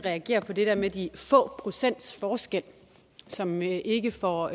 at reagere på det der med de få procents forskel som ikke får